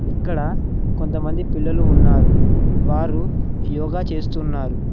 ఇక్కడ కొంతమంది పిల్లలు ఉన్నారు వారు యోగా చేస్తున్నారు.